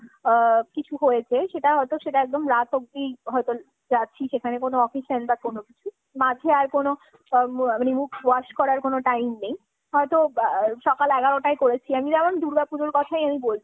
আ কিছু হয়েছে। সেটা হয়তো সেটা একদম রাত অবধি হয়তো যাচ্ছি সেখানে কোনো occasion বা কোনো কিছু। মাঝে আর কোনো মুখ wash kora র কোনো time নেই। হয়তো সকাল এগারোটায় করেছি আমি। যেমন দূর্গা পুজোর কথাই আমি বলছি